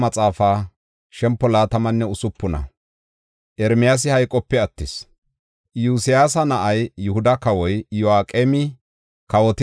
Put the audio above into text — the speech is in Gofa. Iyosyaasa na7ay Yihuda kawoy Iyo7aqeemi kawotida wode Godaa qaalay yis.